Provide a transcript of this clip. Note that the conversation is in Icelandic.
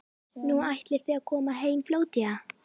Nú, ætlið þið að koma heim fljótlega?